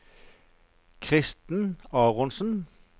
Kristen Aronsen